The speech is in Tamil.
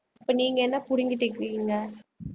இப்ப நீங்க என்ன புடுங்கிட்டு இருக்கீங்க